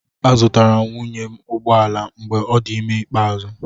Azụtara m nwunye m ụgbọ ala mgbe ọ dị ime ikpeazụ.